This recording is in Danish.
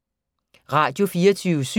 Radio24syv